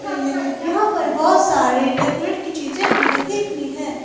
यहां पर बहोत सारे डेकोरेट की चीजें भी रखी हुई है।